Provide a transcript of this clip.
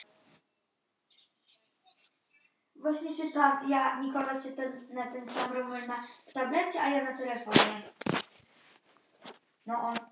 Engilbertsson og Sigríður Ingibjörg Sigurhjartardóttir.